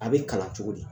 A bɛ kalan cogo di